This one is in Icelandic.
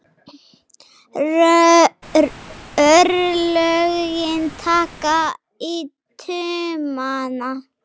Örlögin taka í taumana